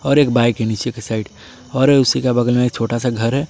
और एक बाइक है नीचे के साइड और उसी का बगल में छोटा सा घर है ।